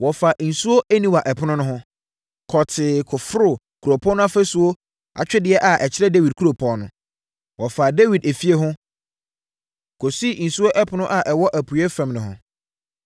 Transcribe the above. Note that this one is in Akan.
Wɔfaa nsuo Aniwa Ɛpono no ho, kɔɔ tee kɔforoo kuropɔn no ɔfasuo atwedeɛ a ɛkyerɛ Dawid kuropɔn no. Wɔfaa Dawid efie ho, kɔsii Nsuo Ɛpono a ɛwɔ apueeɛ fam no ho.